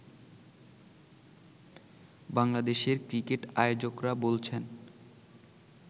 বাংলাদেশের ক্রিকেট আয়োজকরা বলছেন